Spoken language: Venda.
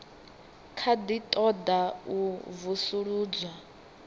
kha ḓi ṱoḓa u vusuludzwa